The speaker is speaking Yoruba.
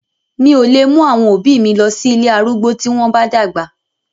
Mi ò lè mú àwọn òbí mi lọ sí ilé arúgbó tí wọ́n bá dàgbà.